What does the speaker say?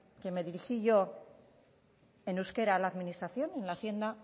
que me dirigí yo en euskara a la administración en la hacienda